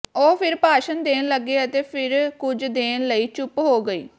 ਉਹ ਫਿਰ ਭਾਸ਼ਣ ਦੇਣ ਲੱਗੇ ਅਤੇ ਫਿਰ ਕੁਝ ਦੇਣ ਲਈ ਚੁੱਪ ਹੋ ਗਈ